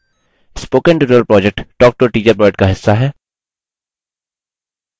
spoken tutorial project talktoa teacher project का हिस्सा है